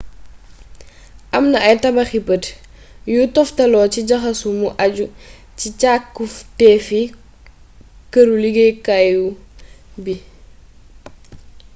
am na ay tabaxi bët yuy toftaloo ci jaxaso mu àju ci càkkutéefi këru liggéeyukaay bi